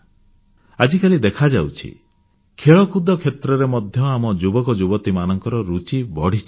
ଆଜିକାଲି ଦେଖାଯାଉଛି ଖେଳକୁଦ କ୍ଷେତ୍ରରେ ମଧ୍ୟ ଆମ ଯୁବକଯୁବତୀମାନଙ୍କର ରୁଚି ବଢ଼ିଚାଲିଛି